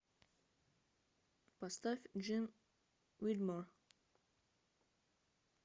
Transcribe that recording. поставь джин вигмор